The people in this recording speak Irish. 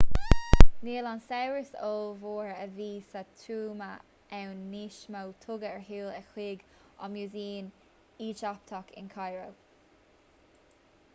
níl an saibhreas ollmhór a bhí sa tuama ann níos mó tugadh ar shiúl é chuig an músaem éigipteach in cairo